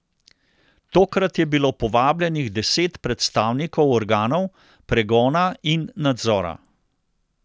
Tokrat je bilo povabljenih deset predstavnikov organov pregona in nadzora.